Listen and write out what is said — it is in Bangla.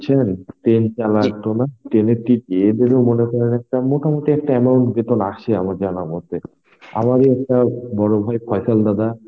বুঝছেন. Train এর ইয়ে দের মোটামুটি একটা amount বেতন আছে আমার জানা মতে. আমাদের একটা বড়ভাই ফয়সল দাদা